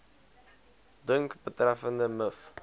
dink betreffende miv